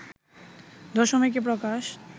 দশমিকে প্রকাশ